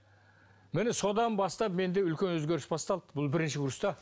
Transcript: міне содан бастап менде үлкен өзгеріс басталды бұл бірінші курста